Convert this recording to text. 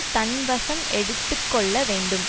தன் வசம் எடுத்து கொள்ள வேண்டும்